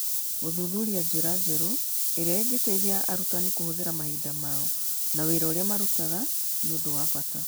Gũthuthuria njĩra njerũ iria ingĩteithia arutani kũhũthĩra mahinda mao na wĩra ũrĩa marutaga nĩ ũndũ wa bata.